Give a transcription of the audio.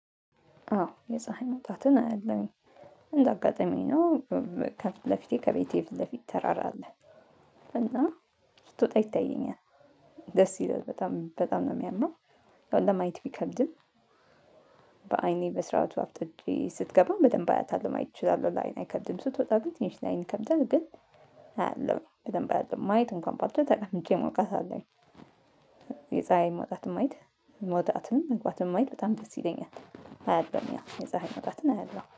አዎ የፀሀይ መውጣትን አያለሁኝ እንደ አጋጣሚ ነው ከፊት ለፊቴ ከቤቴ ፊት ለፊት ተራራ አለ። እና ስትወጣ ይታየኛል። ደስ ይላል በጣም በጣም ነው የሚያምረው። ያው ለማየት ቢከብድም። በአይኔ በስርዓቱ አፍጥጬ ስትገባ በደንብ አያታለሁ ማየት እችላለሁ ለአይን አይከብድም ስትወጣ ግን ትንሽ ላአይን ይከብዳል። ግን አያለሁኝ በደንብ አያለሁኝ ማየት እንኳን ባልችል ተቀምጬ ሞቃታለሁኝ። የፀሀይን መውጣት ማየት። መውጣትም መግባትም ማየት በጣም ደስ ይለኛል። አያለሁኝ ያ የፀሀይ መውጣትን አያለው